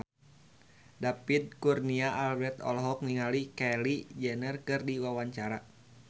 David Kurnia Albert olohok ningali Kylie Jenner keur diwawancara